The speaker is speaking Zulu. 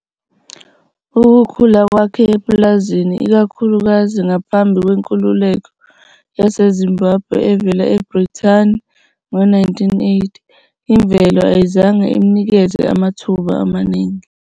Ukukhula kwakhe epulazini, ikakhulukazi ngaphambi kwenkululeko yaseZimbabwe evela eBrithani ngo-1980, imvelo ayizange imnikeze amathuba amaningi.